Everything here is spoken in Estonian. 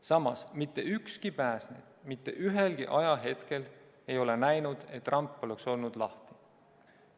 Samas, mitte ükski pääsenu mitte ühelgi ajahetkel ei ole näinud, et ramp oleks olnud lahti.